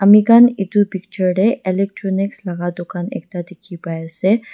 moikhan edu picture de electronics laga dukaan ekta dikhi pai ase.